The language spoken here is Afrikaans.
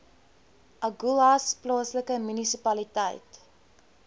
agulhas plaaslike munisipaliteit